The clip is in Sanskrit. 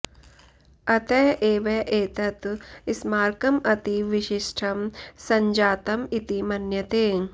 अतः एव एतत् स्मारकम् अतीव विशिष्टं सञ्जातम् इति मन्यते